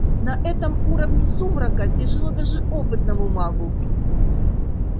на этом уровне сумрака тяжело даже опытному магу